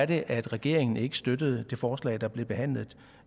det at regeringen ikke støttede det forslag der blev behandlet